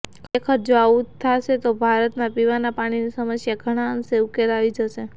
ખરેખર જો આવું થાશે તો ભારતમાં પીવાના પાણીની સમસ્યાનો ઘણા અંશે ઉકેલ આવી જશે